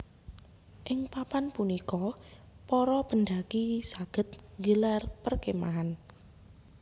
Ing papan punika para pendaki saged nggelar perkemahan